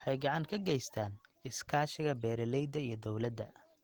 Waxay gacan ka geystaan ??kordhinta iskaashiga beeralayda iyo dawladda.